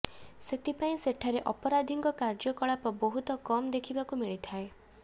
ସେଥିପାଇଁ ସେଠାରେ ଅପରାଧିକ କାର୍ଯ୍ୟକଳାପ ବହୁତ କମ ଦେଖିବାକୁ ମିଳିଥାଏ